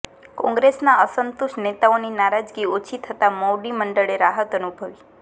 કોંગ્રેસમાં અસંતુષ્ટ નેતાઓની નારાજગી ઓછી થતા મોવડીમંડળે રાહત અનુભવી